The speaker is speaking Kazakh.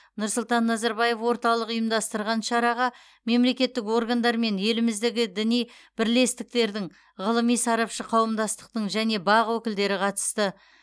нұрсұлтан назарбаев орталығы ұйымдастырған шараға мемлекеттік органдар мен еліміздегі діни бірлестіктердің ғылыми сарапшы қауымдастықтың және бақ өкілдері қатысты